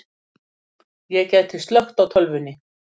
Ég gæti slökkt á tölvunni.